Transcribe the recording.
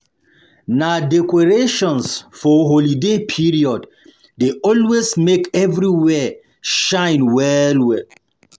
Na decorations for holiday period dey always make everywhere shine well well.